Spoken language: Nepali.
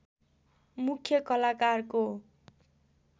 मुख्‍य कलाकारको